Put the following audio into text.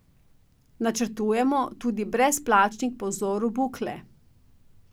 Načrtujemo tudi brezplačnik po vzoru Bukle.